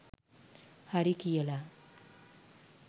හරි කියල